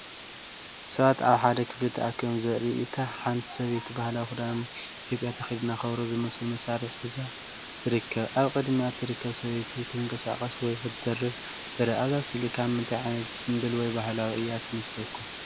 ሰባት ኣብ ሓደ ክፍሊ ተኣኪቦም ዘርኢ እዩ። ሓንቲ ሰበይቲ ባህላዊ ክዳን ኢትዮጵያ ተኸዲና ከበሮ ዝመስል መሳርሒ ሙዚቃ ሒዛ ትርከብ። ኣብ ቅድሚኣ እትርከብ ሰበይቲ ክትንቀሳቐስ ወይ ክትደርፍ ትርአ። እዛ ስእሊ ካብ ምንታይ ዓይነት ጽምብል ወይ ባህላዊ እያ ትመስለኩም?